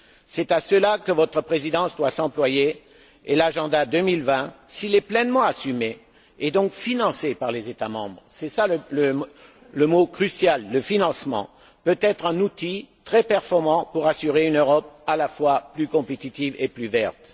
C'est à cela que votre présidence doit s'employer, et l'agenda 2020, s'il est pleinement assumé, et donc financé par les États membres c'est cela le mot crucial, le financement peut être un outil très performant pour assurer une Europe à la fois plus compétitive et plus verte.